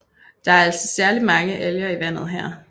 Der er altså særligt mange alger i vandet her